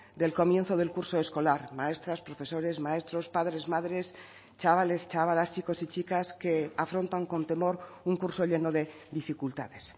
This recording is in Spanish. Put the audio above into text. del comienzo del curso escolar maestras profesores maestros padres madres chavales chavalas chicos y chicas que afrontan con temor un curso lleno de dificultades